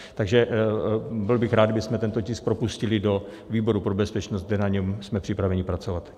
Takže byl bych rád, kdybychom tento tisk propustili do výboru pro bezpečnost, kde na něm jsme připraveni pracovat.